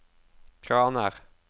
kraner